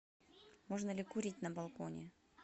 можно ли курить на балконе